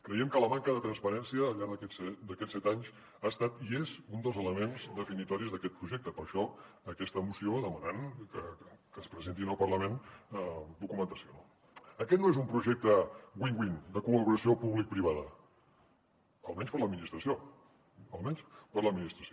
creiem que la manca de transparència al llarg d’aquests set anys ha estat i és un dels elements definitoris d’aquest projecte per això doncs aquesta moció demanant que es presenti al parlament documentació no aquest no és un projecte win win de col·laboració publicoprivada almenys per a l’administració almenys per a l’administració